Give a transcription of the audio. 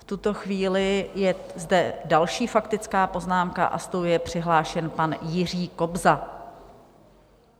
V tuto chvíli je zde další faktická poznámka a s tou je přihlášen pan Jiří Kobza.